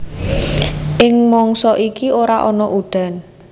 Ing mangsa iki ora ana udan